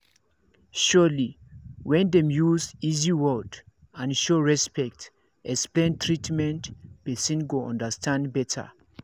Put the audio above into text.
surely when dem use easy words and show respect explain treatment person go understand better